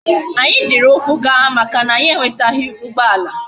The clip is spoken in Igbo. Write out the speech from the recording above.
Anya jiri ukwu gaa maka na anyi enwetaghi ugboala